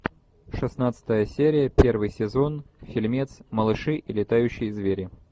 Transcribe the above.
шестнадцатая серия первый сезон фильмец малыши и летающие звери